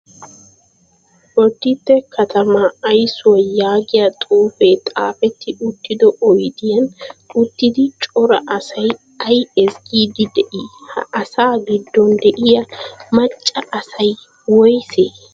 Boditte katamaa ayssuwaa yaagiyaa xuupee xaapetti uttido oyidiyaan uttidi cora asayi ayi ezggiddi dii? Ha asa giddon de''iyaa macca asayi woyisee?